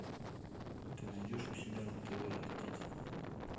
ты найдешь у себя на тв жар птица